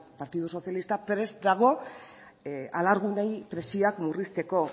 partidu sozialista prest dago alargunei pentsioak murrizteko